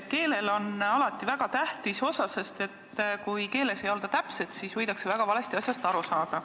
Keelel on alati väga tähtis osa, sest kui keeles ei olda täpsed, siis võidakse väga valesti asjast aru saada.